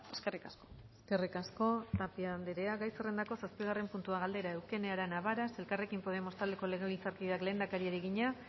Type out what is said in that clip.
eskerrik asko eskerrik asko tapia andrea gai zerrendako zazpigarren puntua galdera eukene arana varas elkarrekin podemos taldeko legebiltzarkideak lehendakariari egina